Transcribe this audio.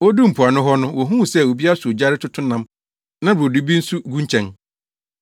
Woduu mpoano hɔ no wohuu sɛ obi asɔ ogya retoto nam na brodo bi nso gu nkyɛn.